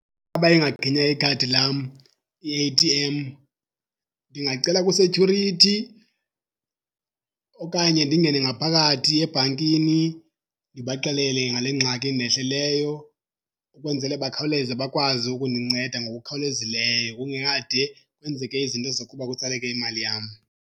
Uba ingaginya ikhadi lam i-A_T_M ndingacela kwi-security okanye ndingene ngaphakathi ebhankini ndibaxelele ngale ngxaki indehleleyo ukwenzele bakhawuleze bakwazi ukundinceda ngokukhawulezileyo kungekade kwenzeke izinto zokuba kutsaleke imali yam.